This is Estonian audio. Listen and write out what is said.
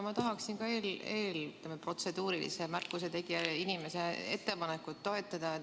Ma tahaksin eelmise protseduurilise märkuse tegija ettepanekut toetada.